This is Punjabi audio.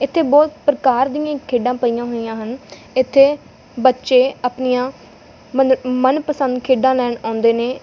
ਇੱਥੇ ਬਹੁਤ ਪ੍ਰਕਾਰ ਦੀਆਂ ਖੇਡਾਂ ਪਈਆਂ ਹੋਇਆਂ ਹਨ ਇੱਥੇ ਬੱਚੇ ਅਪਨੀਆਂ ਮਨ ਮਨਪਸੰਦ ਖੇਡਾਂ ਲੈਣ ਆਉਂਦੇ ਨੇਂ।